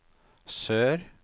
sør